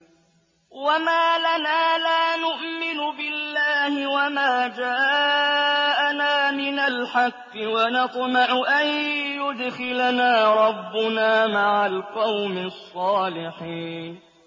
وَمَا لَنَا لَا نُؤْمِنُ بِاللَّهِ وَمَا جَاءَنَا مِنَ الْحَقِّ وَنَطْمَعُ أَن يُدْخِلَنَا رَبُّنَا مَعَ الْقَوْمِ الصَّالِحِينَ